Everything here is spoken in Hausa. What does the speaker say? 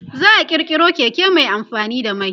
za'a kirkiro Keke Mai amfani da mai